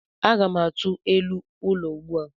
Aga m atụ elu ụlọ ugbu a.